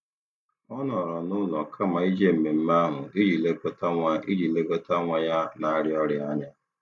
Ọ nọrọ n'ụlọ kama ije mmemme ahụ iji lekọta nwa iji lekọta nwa ya na-arịa ọrịa anya.